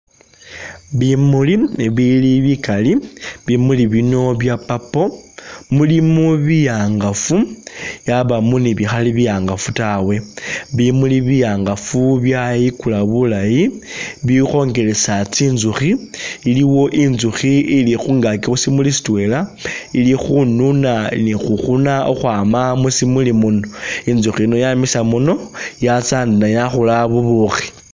Bimuli bibili bigali bimuli bino bya purple mulimo bihangafu byabamo ni bikhali bihangafu ta bimuli bihangafu byayigula buulayi bikhongelesa tsinzukhi iliwo inzukhi ili khungagi khushimuli shidwela ili khununa ni [?] khukhwama mushimuli muno inzukhi yino yamisa muno yatsa ni yakhola bubukhi.